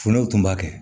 Fulow tun b'a kɛ